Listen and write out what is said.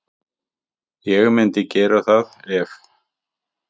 Ég myndi gera það ef.